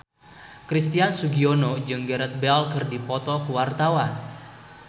Christian Sugiono jeung Gareth Bale keur dipoto ku wartawan